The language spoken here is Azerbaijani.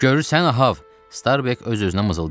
Görürsən Ahab, Starbek öz-özünə mızıldandı.